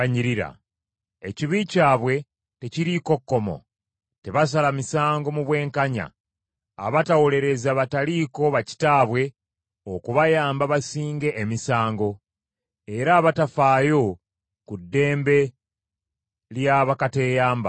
Ekibi kyabwe tekiriiko kkomo, tebasala misango mu bwenkanya, abatawolereza bataliiko ba kitaabwe okubayamba basinge emisango, era abatafaayo ku ddembe lya bakateeyamba.